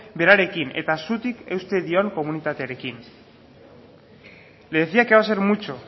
berarekin eta zutik eusten dion komunitatearekin le decía que va a ser mucho